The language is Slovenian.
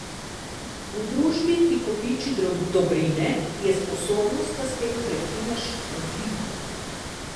V družbi, ki kopiči dobrine, je sposobnost, da s tem prekineš, odlika.